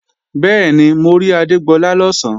Bẹ́ẹ̀ni, mo rí Adégbọlá lọ̀sán